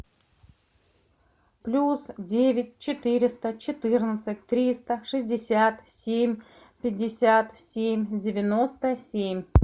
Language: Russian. плюс девять четыреста четырнадцать триста шестьдесят семь пятьдесят семь девяносто семь